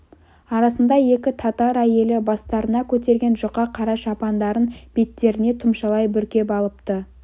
арасында екі татар әйелі бастарына көтерген жұқа қара шапандарын беттеріне тұмшалай бүркеп алыпты